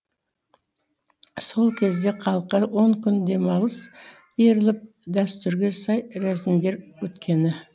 сол кезде халыққа он күн демалыс беріліп дәстүрге сай рәсімдер өткені